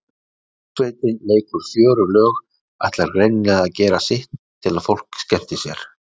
Hljómsveitin leikur fjörug lög, ætlar greinilega að gera sitt til að fólk skemmti sér.